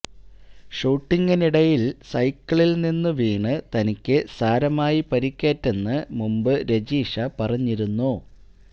ഷൂട്ടിംഗിനിടയില് സൈക്കിളില് നിന്ന് വീണ് തനിക്ക് സാരമായി പരിക്കേറ്റെന്ന് മുമ്പ് രജിഷ പറഞ്ഞിരുന്നു